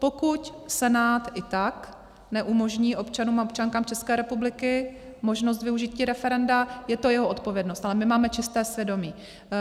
Pokud Senát i tak neumožní občanům a občankám České republiky možnost využití referenda, je to jeho odpovědnost, ale my máme čisté svědomí.